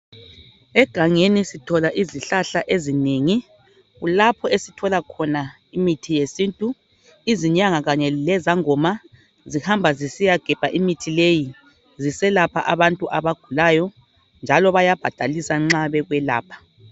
Egangeni sithola izihlahla ezinengi kulapha esithola khona imithi yesintu izangoma lenyanga zihamba zisiya gebha imithi leyi ziselapha abantu abagulayo njalo bayabhadalisa nxa beselapha